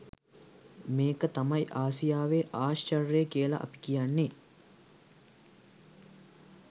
මේක තමයි ආසියාවේ ආශ්චර්ය කියලා අපි කියන්නේ.